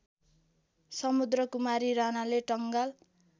समुद्रकुमारी राणाले टंगाल